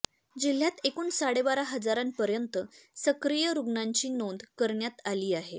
जिल्ह्यात एकूण साडेबारा हजारांपर्यंत सक्रिय रुग्णांची नोंद करण्यात आली आहे